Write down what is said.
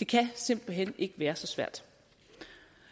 det kan simpelt hen ikke være så svært